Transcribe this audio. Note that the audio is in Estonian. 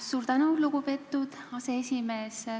Suur tänu, lugupeetud aseesimees!